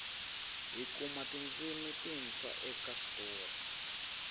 hi kuma tindzimi tintshwa eka switori